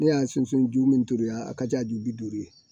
Ne y'a sunju min tobi yan a ka ca ju bi duuru ye